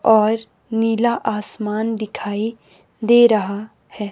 और नीला आसमान दिखाई दे रहा है।